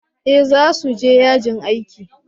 eh za su je yajin aiki